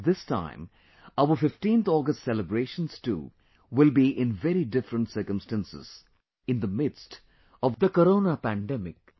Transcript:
This time, our 15th August celebrations too will be in very different circumstances in the midst of the Corona Virus pandemic